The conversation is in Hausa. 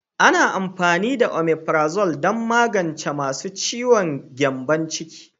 Ana amfani da Omeprazole don magance masu ciwon gyambon ciki.